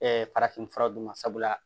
farafin fura d'u ma sabula